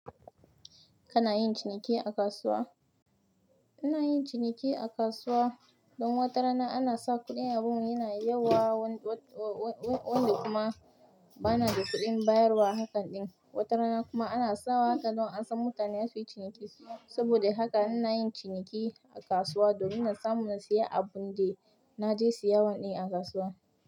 Kana yin ciniki a kasuwa? Ina yin ciniki a kasuwa don wata rana ana sa kuɗin abun yana yawa, wanda kuma bana da kuɗin bayarwa hakan ɗin. Wata rana kuma ana sawa haka don a san mutane za suyi ciniki. Saboda haka muna yin ciniki a kasuwa domin in samu na siya abun da na je siya wa ɗan a kasuwa.